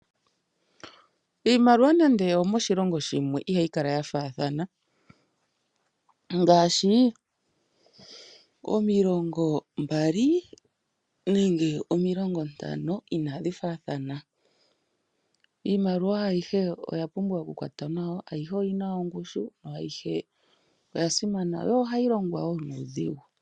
Iimaliwa nande oyo moshilongo shimwe ihayi kala ya thaathana. Ngaashi omilongo mbali nenge omilongo ntano ina dhi thaathana. Iimaliwa ayihe oya pumbwa okukwatwa nawa, ayihe oyina ongushe yo ohayi longwa woo nuu dhigu.